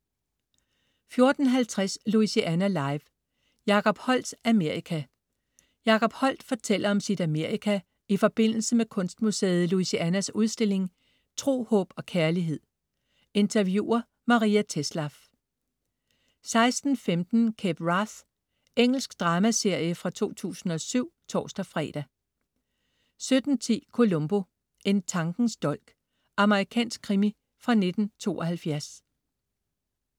14.50 Louisiana Live: Jacob Holdts Amerika. Jacob Holdt fortæller om sit Amerika i forbindelse med kunstmuseet Louisianas udstilling "Tro, Håb og Kærlighed". Interviewer: Maria Tetzlaff 16.15 Cape Wrath. Engelsk dramaserie fra 2007 (tors-fre) 17.10 Columbo: En tankens dolk. Amerikansk krimi fra 1972